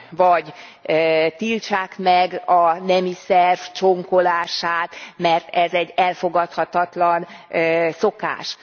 Vagy tiltsák meg a nemi szerv csonkolását, mert ez egy elfogadhatatlan szokás.